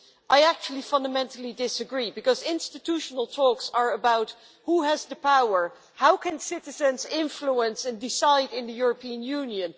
I actually fundamentally disagree because institutional talks are about who has the power. How can citizens influence and decide in the European Union?